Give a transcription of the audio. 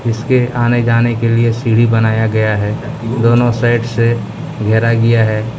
इसके आने जाने के लिए सीढी बनाया गया है दोनों साइड से घेरा गया है।